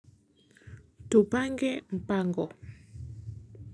Tupange mpango.